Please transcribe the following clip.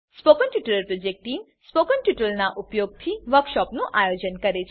spoken tutorial project team spoken ટ્યુટોરીયલોનાં ઉપયોગથી વર્કશોપોનું આયોજન કરે છે